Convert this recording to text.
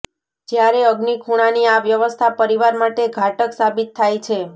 જ્યારે અગ્નિ ખૂણાની આ વ્યવસ્થા પરીવાર માટે ઘાતક સાબિત થાય છે